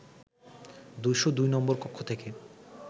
২০২ নম্বর কক্ষ থেকে